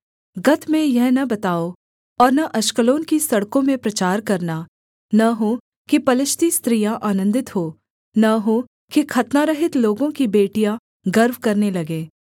गत में यह न बताओ और न अश्कलोन की सड़कों में प्रचार करना न हो कि पलिश्ती स्त्रियाँ आनन्दित हों न हो कि खतनारहित लोगों की बेटियाँ गर्व करने लगें